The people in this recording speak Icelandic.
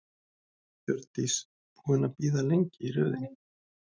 Hjördís: Búinn að bíða lengi í röðinni?